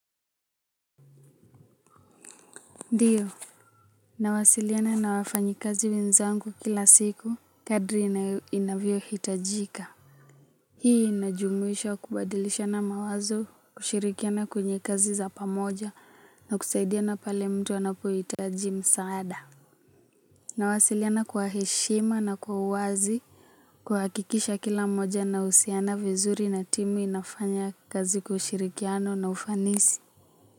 Ndiyo nawasiliana na wafanyi kazi wenzangu kila siku kadri inavyo hitajika. Hii inajumuisha kubadilishana mawazo kushirikiana kwenye kazi za pamoja na kusaidiana pale mtu anapo hitaji msaada. Nawasiliana kwa heshima na kwa uwazi. Kuhakikisha kila mmoja anahusiana vizuri na timu inafanya kazi ushirikiano na ufanisi.